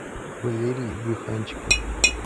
валерий брюханчиков